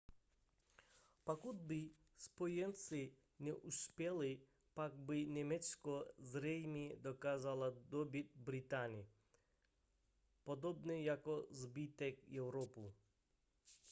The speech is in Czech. pokud by spojenci neuspěli pak by německo zřejmě dokázalo dobýt británii podobně jako zbytek evropy